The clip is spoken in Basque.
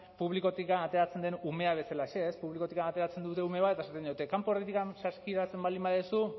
publikotik ateratzen den umea bezalaxe publikotik ateratzen dute ume bat eta esaten diote kanpo saskiratzen baldin baduzu